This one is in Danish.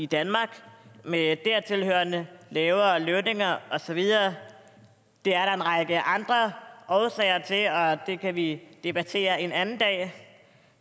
danmark med dertil hørende lavere lønninger og så videre det er der en række andre årsager til og det kan vi debattere en anden dag